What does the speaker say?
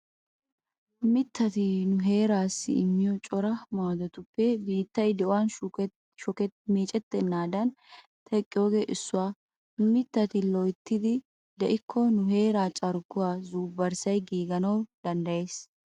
Mittati nu heeraassi immiyo cora maadotuppe biittay di'uwaan meecetennaadan teqqiyogee issuwaa. Mittati loyttidi de'ikko nu heeraa carkkuwaa zuubbarssay giiganawu danddayees.